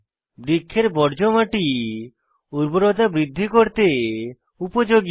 বৃক্ষের বর্জ্য মাটি উর্বরতা বৃদ্ধি করতে উপযোগী